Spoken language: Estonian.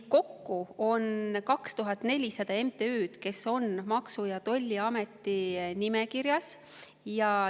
Kokku on 2400 MTÜ-d, kes on Maksu- ja Tolliameti nimekirjas.